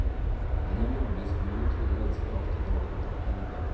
Gjennom nordlysbuene trodde menneskene ofte de hadde kontakt med de døde.